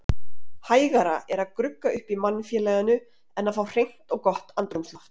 Hægara er að grugga upp í mannfélaginu en að fá hreint og gott andrúmsloft.